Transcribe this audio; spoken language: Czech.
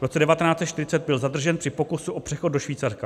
V roce 1940 byl zadržen při pokusu o přechod do Švýcarska.